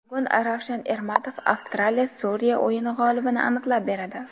Bugun Ravshan Ermatov Avstraliya Suriya o‘yini g‘olibini aniqlab beradi .